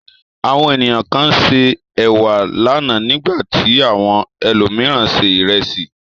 Àwọn ènìyàn kan se ẹ̀wà lánàá, nígbà tí àwọn ẹlòmíràn se ìrẹsì.